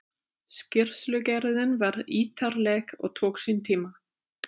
Skýrslugerðin var ítarleg og tók sinn tíma.